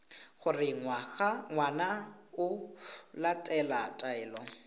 gore ngwana o latela taelo